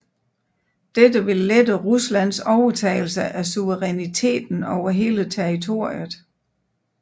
Dette ville lette Ruslands overtagelse af suveræniteten over hele territoriet